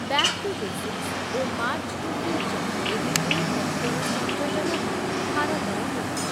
Back to basics ଓ march to future ଏହି ଦୁଇ ତତ୍ତ୍ୱର ସଂଯୋଜନ ହିଁ ଭାରତର ନୀତି ।